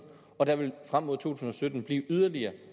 og der vil frem mod to tusind og sytten bliver yderligere